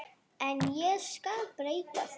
En ég skal breyta því.